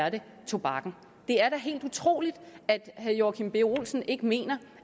at det er tobakken det er da helt utroligt at herre joachim b olsen ikke mener